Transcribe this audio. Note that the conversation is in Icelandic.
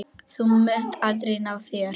Þú munt aldrei ná þér.